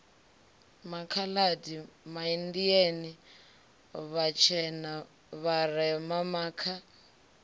makhaladi maindia vhatshena vharema makha